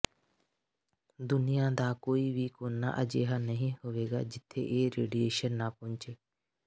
ਦੁਨੀਆ ਦਾ ਕੋਈ ਵੀ ਕੋਨਾ ਅਜਿਹਾ ਨਹੀਂ ਹੋਵੇਗਾ ਜਿੱਥੇ ਇਹ ਰੇਡੀਏਸ਼ਨ ਨਾ ਪਹੁੰਚੇ